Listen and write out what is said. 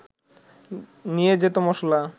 নিয়ে যেত মশলা